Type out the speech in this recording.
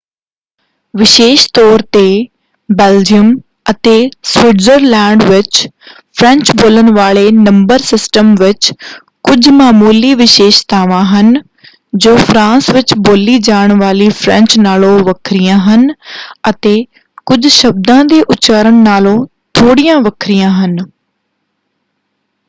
ਵਿਸ਼ੇਸ਼ ਤੌਰ 'ਤੇ ਬੈਲਜੀਅਮ ਅਤੇ ਸਵਿਟਜ਼ਰਲੈਂਡ ਵਿੱਚ ਫ੍ਰੈਂਚ-ਬੋਲਣ ਵਾਲੇ ਨੰਬਰ ਸਿਸਟਮ ਵਿੱਚ ਕੁਝ ਮਾਮੂਲੀ ਵਿਸ਼ੇਸ਼ਤਾਵਾਂ ਹਨ ਜੋ ਫਰਾਂਸ ਵਿੱਚ ਬੋਲੀ ਜਾਣ ਵਾਲੀ ਫ੍ਰੈਂਚ ਨਾਲੋਂ ਵੱਖਰੀਆਂ ਹਨ ਅਤੇ ਕੁਝ ਸ਼ਬਦਾਂ ਦੇ ਉਚਾਰਨ ਨਾਲੋਂ ਥੋੜ੍ਹੀਆਂ ਵੱਖਰੀਆਂ ਹਨ।